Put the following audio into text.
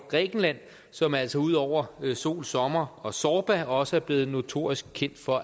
grækenland som altså ud over sol sommer og zorba også er blevet notorisk kendt for